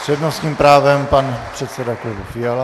S přednostním právem pan předseda klubu Fiala.